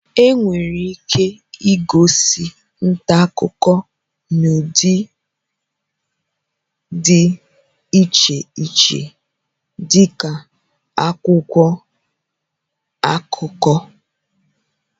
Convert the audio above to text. Enwere ike ịgosi nta akụkọ n'ụdị dị iche iche dị ka akwụkwọ akụkọ